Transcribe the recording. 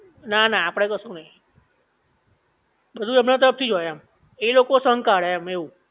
ના ના આપડે કશું નહિ બધુ એમના તરફ થી જ હોય એમ એ લોકો સંઘ કાઢે એમ એવું